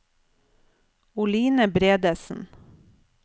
Oline Bredesen